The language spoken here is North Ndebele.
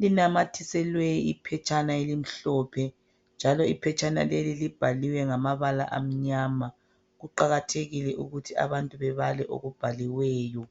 linamathiselwe iphetshana elimhlophe, njalo iphetshana leli libhaliwe ngamabala amnyama. Kuqakathekile ukuthi abantu bebale okubhaliweyo.